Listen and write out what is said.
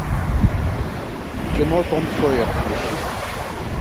кино том сойер поищи